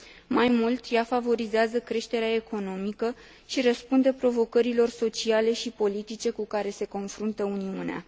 Mai mult, ea favorizează creșterea economică și răspunde provocărilor sociale și politice cu care se confruntă Uniunea.